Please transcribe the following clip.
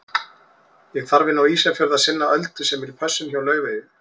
Ég þarf inn á Ísafjörð að sinna Öldu sem er í pössun hjá Laufeyju.